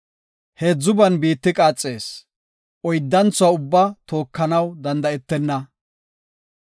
Heedzuban biitti qaaxees; oyddanthuwa ubba tookanaw danda7etenna.